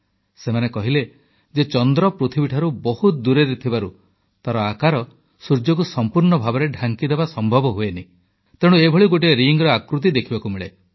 ସେମାନେ କହିଲେ ଯେ ଚନ୍ଦ୍ର ପୃଥିବୀଠାରୁ ବହୁତ ଦୂରରେ ଥିବାରୁ ତାର ଆକାର ସୂର୍ଯ୍ୟକୁ ସମ୍ପୂର୍ଣ୍ଣ ଭାବେ ଢାଙ୍କିଦେବା ସମ୍ଭବ ହୁଏନାହିଁ ତେଣୁ ଏଭଳି ଗୋଟିଏ ରିଙ୍ଗର ଆକୃତି ଦେଖିବାକୁ ମିଳେ